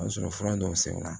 O y'a sɔrɔ fura dɔw sɛgɛnna